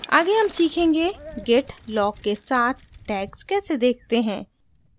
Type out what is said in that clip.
आगे हम सीखेंगे git log के साथ tags कैसे देखते हैं